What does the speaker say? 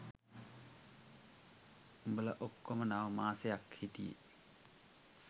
උඹලා ඔක්කෝම නව මාසයක් හිටියෙ.